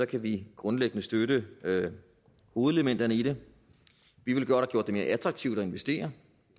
kan vi grundlæggende støtte hovedelementerne i det vi ville godt have gjort det mere attraktivt at investere